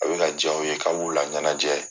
A bɛ ka diya u ye, k' a bu la ɲɛnajɛ